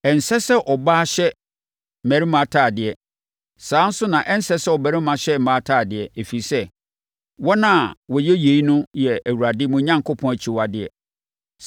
Ɛnsɛ sɛ ɔbaa hyɛ mmarima atadeɛ, saa ara nso na ɛnsɛ sɛ ɔbarima hyɛ mmaa atadeɛ, ɛfiri sɛ, wɔn a wɔyɛ yei yɛ Awurade, mo Onyankopɔn, akyiwadeɛ.